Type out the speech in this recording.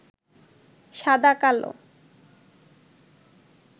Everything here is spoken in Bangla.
সাদাকালো